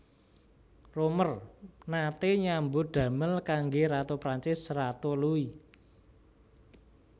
Roemer naté nyambut damel kanggé Ratu Prancis Ratu Louis